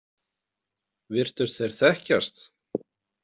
Virtust þeir þekkjast?